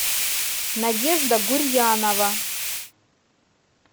надежда гурьянова